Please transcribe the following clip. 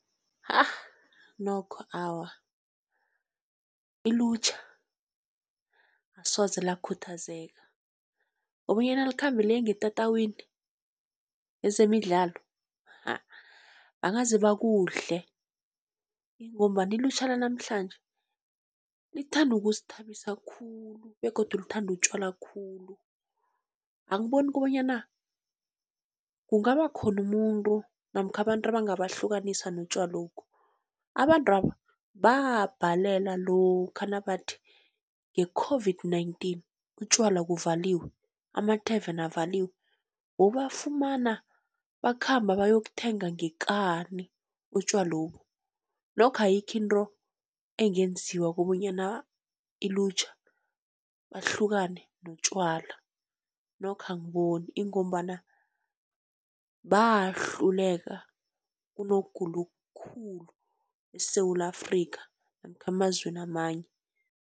Ahh nokho awa, ilutjha asoze lakhuthazeka kobonyana likhambe liye ngetatawini lezemidlalo ha bangaze bakudle, ingombana ilutjha lanamhlanje lithanda ukuzithabisa khulu begodu lithanda utjwala khulu. Angiboni kobonyana kungaba khona umuntu namkha abantu abangabahlukanisa notjwalokhu, abantwaba babhalela lokha nabathi nge-COVID-19 utjwala kuvaliwe amathaveni avaliwe, bowubafumana bakhamba bayokuthenga ngekani utjwalobu. Nokho ayikho into engenziwa kobonyana ilutjha bahlukane notjwala nokho angiboni, ingombana bahluleka kunokugula okukhulu eSewula Afrikha, namkha emazweni amanye.